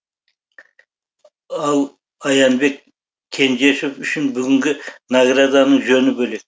ал аянбек кенжешов үшін бүгінгі награданың жөні бөлек